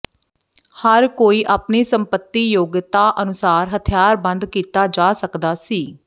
ਹਰ ਕੋਈ ਆਪਣੀ ਸੰਪਤੀ ਯੋਗਤਾ ਅਨੁਸਾਰ ਹਥਿਆਰਬੰਦ ਕੀਤਾ ਜਾ ਸਕਦਾ ਸੀ